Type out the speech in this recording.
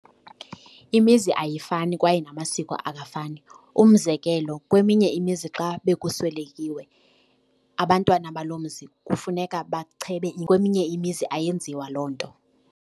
Imizi ayifani kwaye namasiko akafani. Umzekelo, kweminye imizi xa bekuswelekiwe abantwana baloo mzi kufuneka bachebe kweminye imizi ayenziwa loo nto.